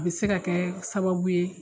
U bɛ se ka kɛ sababu ye